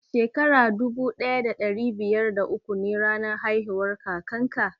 Shin Shekara dubu daya da dari biyar da uku ne ranar haihuwar kakan ka?